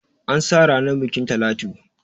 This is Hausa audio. An sa ranar bukin Talatu.